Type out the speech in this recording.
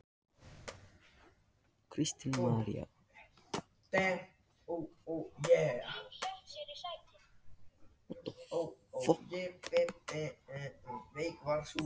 Kristín María: Veistu hvað hljómsveitin heitir?